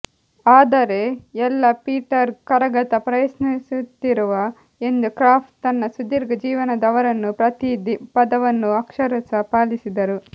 ಆದರೆ ಎಲ್ಲ ಪೀಟರ್ ಕರಗತ ಪ್ರಯತ್ನಿಸುತ್ತಿರುವ ಎಂದು ಕ್ರಾಫ್ಟ್ ತನ್ನ ಸುದೀರ್ಘ ಜೀವನದ ಅವರನ್ನು ಪ್ರತೀ ಪದವನ್ನೂ ಅಕ್ಷರಶಃ ಪಾಲಿಸಿದರು